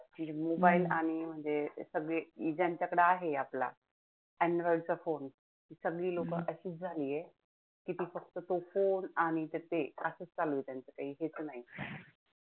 सगळी लोक अशीच झालीय फक्त तो phone आणि त्याच असंच चालू आहे, त्यांचं काही हेच नाही.